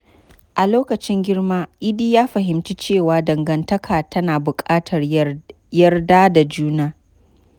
A lokacin girma, Idi ya fahimci cewa dangantaka tana bukatar yarda da juna.